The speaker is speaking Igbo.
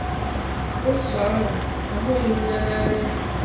otú ahụ ahụghị m ya nanya.